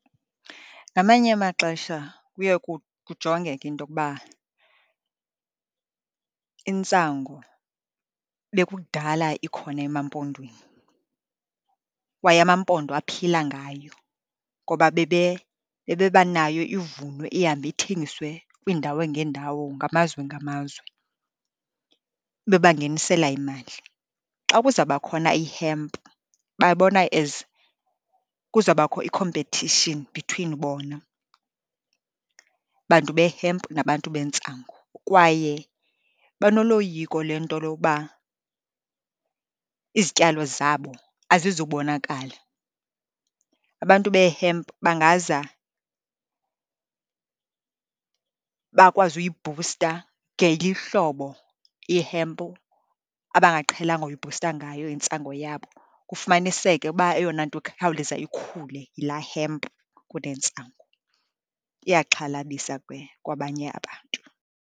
Ngamanye amaxesha kuye kujongeke into yokuba intsangu bekukudala ikhona emaMpondweni, kwaye amaMpondo aphila ngayo ngoba bebebanayo ivunwe, ihambe ithengiswe kwiindawo ngeendawo, ngamazwe ngamazwe bebangenisela imali. Xa kuzaba khona i-hemp babona as kuzabakho i-competition between bona bantu be-hemp nabantu bentsangu, kwaye banoloyiko lento yoba izityalo zabo azizubonakala, abantu be-hemp bangaza bakwazi uyibhusta ngeli hlobo ihempu abangaqhelanga uyibhusta ngayo intsango yabo. Kufumaniseke uba eyona nto ikhawuleza ikhule yilaa hemp kunentsangu. Iyaxhalabisa ke kwabanye abantu.